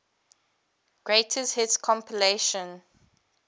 greatest hits compilation